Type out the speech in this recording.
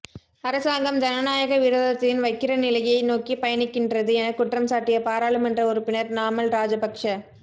அரசாங்கம் ஜனநாயக விரோதத்தின் வக்கிர நிலையை நோக்கி பயணிக்கின்றது என குற்றம் சாட்டிய பாராளுமன்ற உறுப்பினர் நாமல் ராஜபக்ஷ